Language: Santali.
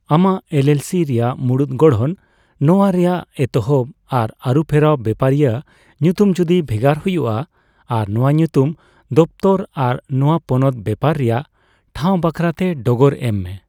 ᱟᱢᱟᱜ ᱮᱞᱹᱮᱞᱹᱥᱤ ᱨᱮᱭᱟᱜ ᱢᱩᱬᱩᱛ ᱜᱚᱲᱦᱚᱱ, ᱱᱚᱣᱣ ᱨᱮᱭᱟᱜ ᱮᱛᱚᱦᱚᱵ ᱟᱨ ᱟᱹᱨᱩᱯᱷᱮᱨᱟᱣ ᱵᱮᱯᱟᱨᱤᱭᱟ ᱧᱩᱛᱩᱢ ᱡᱚᱫᱤ ᱵᱷᱮᱜᱟᱨ ᱦᱩᱭᱩᱜᱼᱟ, ᱟᱨ ᱱᱚᱣᱟ ᱧᱩᱛᱩᱢ ᱫᱚᱯᱛᱚᱨ ᱟᱨ ᱱᱚᱣᱟ ᱯᱚᱱᱚᱛ ᱵᱮᱯᱟᱨ ᱨᱮᱭᱟᱜ ᱴᱷᱟᱣ ᱵᱟᱠᱷᱨᱟ ᱛᱮ ᱰᱚᱜᱚᱨ ᱮᱢ ᱢᱮ ᱾